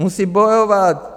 Musí bojovat.